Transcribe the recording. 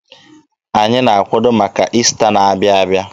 Anyị na-akwado maka Ista na-abịa abịa.